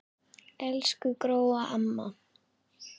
Elsku Gróa amma.